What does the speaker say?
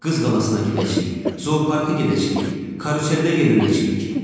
Qız qalasına gedəcəyik, zooparka gedəcəyik, karuseldə yelənəcəyik.